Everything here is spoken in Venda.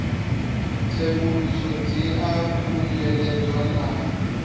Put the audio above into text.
tsenguluso dzi a khunyeledzwa na